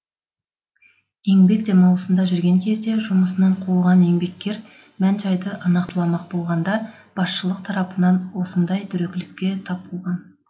еңбек демалысында жүрген кезінде жұмысынан қуылған еңбеккер мән жайды нақтыламақ болғанда басшылық тарапынан осындай дөрекілікке тап болған